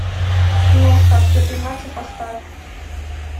киношка отпетый мачо поставь